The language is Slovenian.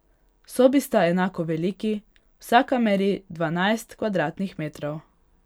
Sobi sta enako veliki, vsaka meri dvanajst kvadratnih metrov.